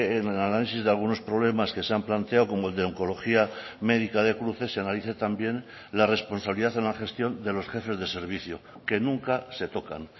en el análisis de algunos problemas que se han planteado como el de oncología médica de cruces se analice también la responsabilidad en la gestión de los jefes de servicio que nunca se tocan